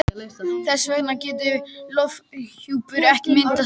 Þess vegna getur lofthjúpur ekki myndast þar.